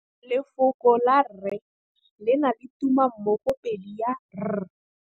Lefoko la 'rre' le na le tumammogôpedi ya 'r'.